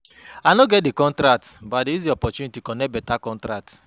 I no get di contract but I use di opportunity connect beta contract.